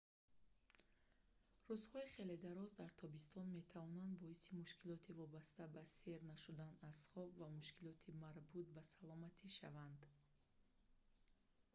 рӯзҳои хеле дароз дар тобистон метавонанд боиси мушкилоти вобаста ба сер нашудан аз хоб ва мушкилоти марбут ба саломатӣ шаванд